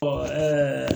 Ɔ ɛɛ